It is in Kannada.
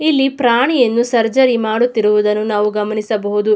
ಇಲ್ಲಿ ಪ್ರಾಣಿಯನ್ನು ಸರ್ಜರಿ ಮಾಡುತ್ತಿರುವುದನ್ನು ನಾವು ಗಮನಿಸಬಹುದು.